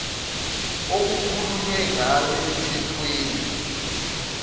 okukhulunywe ngayo emthethweni